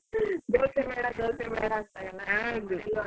ದೋಸೆ ಬೇಡ ದೋಸೆ ಬೇಡ ಅಂತಾರಲ್ಲ .